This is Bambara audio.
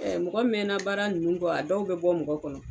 Mɔgɔ mɛnna baara ninnu kɔ a dɔw bɛ bɔ mɔgɔ kɔnɔ